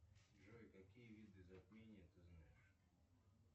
джой какие виды затмения ты знаешь